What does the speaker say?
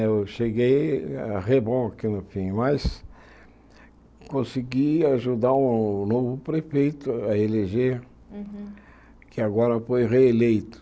Eu cheguei a no fim, mas consegui ajudar um novo prefeito a eleger, Uhum que agora foi reeleito.